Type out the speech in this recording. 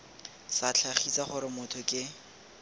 sa tlhagise gore motho ke